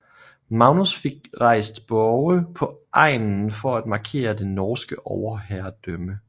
Magnus fik rejst borge på egnen for at markere det norske overherredømme